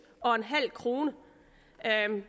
kroner